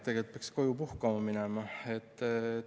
Tegelikult peaks koju puhkama minema.